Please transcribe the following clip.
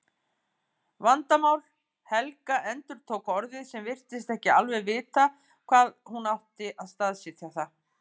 Vandamál. Helga endurtók orðið en virtist ekki alveg vita hvar hún átti að staðsetja það.